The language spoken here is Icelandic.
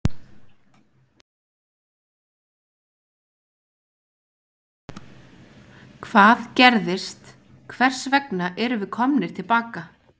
Hvað gerðist, hvers vegna erum við komnir til baka?